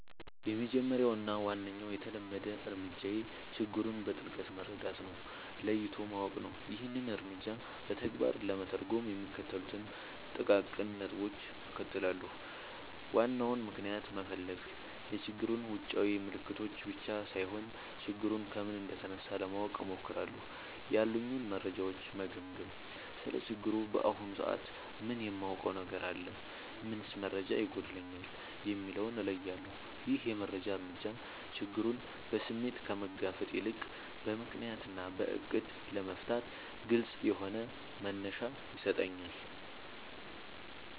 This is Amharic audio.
—የመጀመሪያው እና ዋነኛው የተለመደ እርምጃዬ ችግሩን በጥልቀት መረዳት እና ለይቶ ማወቅ ነው። ይህንን እርምጃ በተግባር ለመተርጎም የሚከተሉትን ጥቃቅን ነጥቦች እከተላለሁ፦ ዋናውን ምክንያት መፈለግ፣ የችግሩን ውጫዊ ምልክቶች ብቻ ሳይሆን፣ ችግሩ ከምን እንደተነሳ ለማወቅ እሞክራለሁ። ያሉኝን መረጃዎች መገምገም: ስለ ችግሩ በአሁኑ ሰዓት ምን የማውቀው ነገር አለ? ምንስ መረጃ ይጎድለኛል? የሚለውን እለያለሁ። ይህ የመጀመሪያ እርምጃ ችግሩን በስሜት ከመጋፈጥ ይልቅ በምክንያት እና በዕቅድ ለመፍታት ግልጽ የሆነ መነሻ ይሰጠኛል።